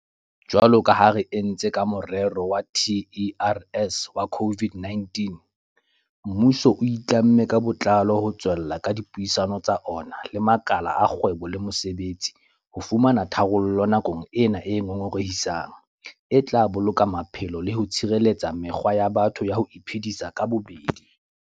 Jwalo ka ha re entse ka morero wa TERS wa COVID-19, mmuso o itlamme ka botlalo ho tswella ka dipuisano tsa ona le makala a kgwebo le mosebetsi ho fumana tharollo nakong ena e ngongorehisang e tla boloka maphelo le ho tshireletsa mekgwa ya batho ya ho iphedisa ka bobedi.